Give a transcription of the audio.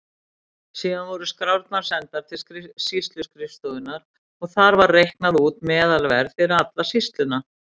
Síðan voru skrárnar sendar til sýsluskrifstofunnar og þar var reiknað út meðalverð fyrir alla sýsluna.